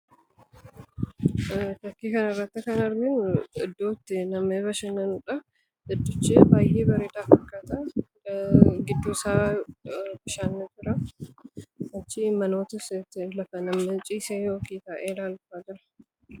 Fakkii kana irratti kan arginu iddootti namni bashannanudha idddochi baay'ee baredaa fakkata giddusaa bishaantu jiraa achi manoota lafa manneen ciiseetu jira